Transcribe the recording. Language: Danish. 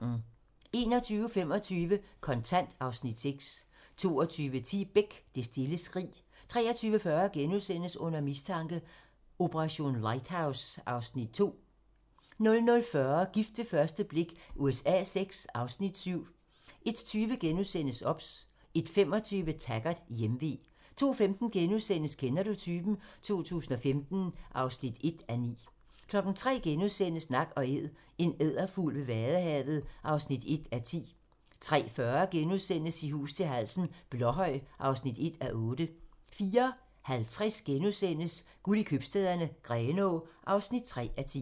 21:25: Kontant (Afs. 6) 22:10: Beck: Det stille skrig 23:40: Under mistanke: Operation Lighthouse (Afs. 2)* 00:40: Gift ved første blik USA VI (Afs. 7) 01:20: OBS * 01:25: Taggart: Hjemve 02:15: Kender du typen? 2015 (1:9)* 03:00: Nak & Æd - en edderfugl ved Vadehavet (1:10)* 03:40: I hus til halsen - Blåhøj (1:8)* 04:50: Guld i købstæderne - Grenaa (3:10)*